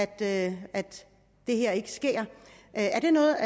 at det her ikke sker er det noget